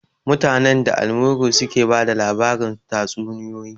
Mutanen da, da almuru suke bada labarin tatsuniyoyi